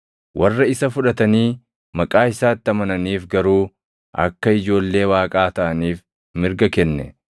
Warra isa fudhatanii maqaa isaatti amananiif garuu akka ijoollee Waaqaa taʼaniif mirga kenne.